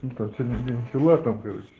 инта целый день хила там короче